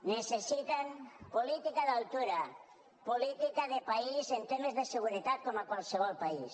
necessiten política d’altura política de país en temes de seguretat com a qualsevol país